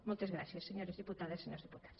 moltes gràcies senyores diputades i senyors diputats